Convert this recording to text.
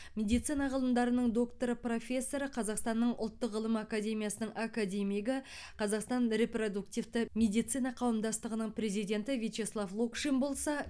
медицина ғылымдарының докторы профессор қазақстанның ұлттық ғылым академиясының академигі қазақстан репродуктивті медицина қауымдастығының президенті вячеслав локшин болса